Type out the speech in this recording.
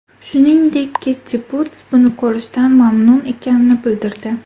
Shuningdek, Keti Puts buni ko‘rishdan mamnun ekanini bildirdi.